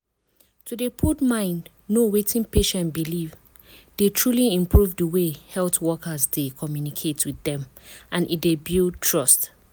to dey put mind know wetin patient believe dey truly improve di way health wokers dey communicate with dem and e dey build trust.